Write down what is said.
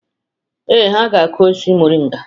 Ee, ha ga-akụ osisi moringa.